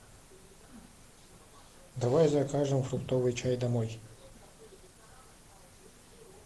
давай закажем фруктовый чай домой